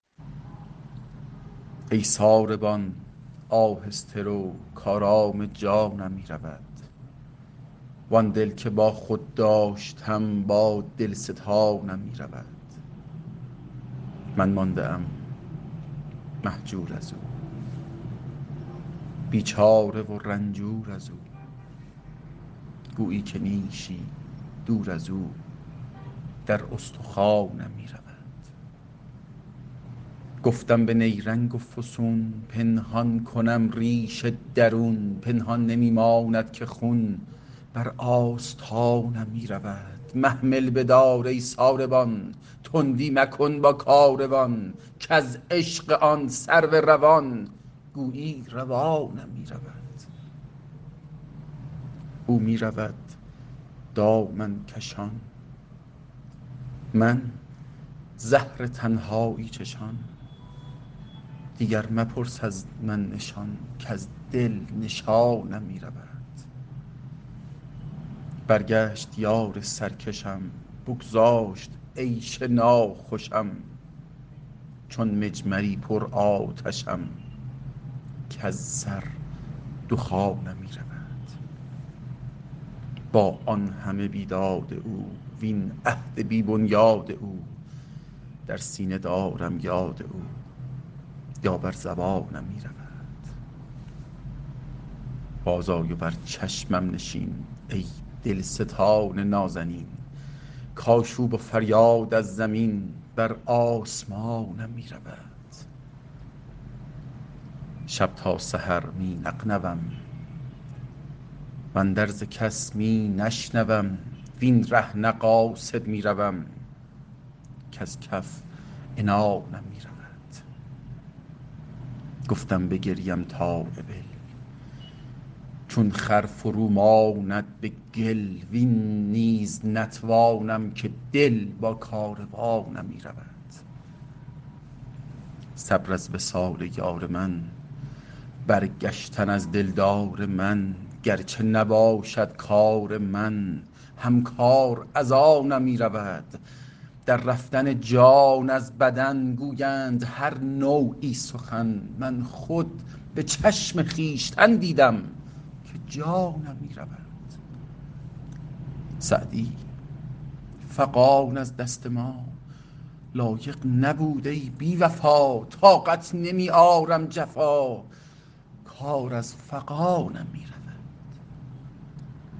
ای ساربان آهسته رو کآرام جانم می رود وآن دل که با خود داشتم با دل ستانم می رود من مانده ام مهجور از او بیچاره و رنجور از او گویی که نیشی دور از او در استخوانم می رود گفتم به نیرنگ و فسون پنهان کنم ریش درون پنهان نمی ماند که خون بر آستانم می رود محمل بدار ای ساروان تندی مکن با کاروان کز عشق آن سرو روان گویی روانم می رود او می رود دامن کشان من زهر تنهایی چشان دیگر مپرس از من نشان کز دل نشانم می رود برگشت یار سرکشم بگذاشت عیش ناخوشم چون مجمری پرآتشم کز سر دخانم می رود با آن همه بیداد او وین عهد بی بنیاد او در سینه دارم یاد او یا بر زبانم می رود بازآی و بر چشمم نشین ای دلستان نازنین کآشوب و فریاد از زمین بر آسمانم می رود شب تا سحر می نغنوم واندرز کس می نشنوم وین ره نه قاصد می روم کز کف عنانم می رود گفتم بگریم تا ابل چون خر فرو ماند به گل وین نیز نتوانم که دل با کاروانم می رود صبر از وصال یار من برگشتن از دلدار من گر چه نباشد کار من هم کار از آنم می رود در رفتن جان از بدن گویند هر نوعی سخن من خود به چشم خویشتن دیدم که جانم می رود سعدی فغان از دست ما, لایق نبود ای بی وفا طاقت نمی آرم جفا کار از فغانم می رود